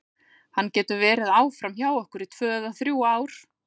Hann getur verið áfram hjá okkur í tvö eða þrjú ár.